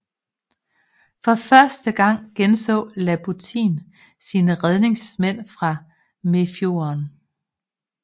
For første gang genså Labutin sine redningsmænd fra Mefjorden